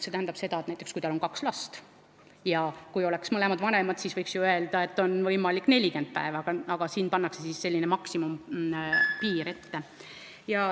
See tähendab seda, et kui näiteks peres on kaks last ja on olemas mõlemad vanemad, siis võiks ju öelda, et on võimalik saada 40 päeva, aga siin pannakse maksimumpiir ette.